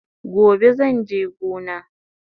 Gobe zanje gona